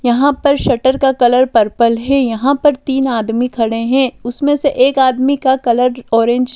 यहाँ पर शटर का कलर पर्पल है यहाँ पर तीन आदमी खड़े हैं उसमें से एक आदमी का कलर ऑरेंज --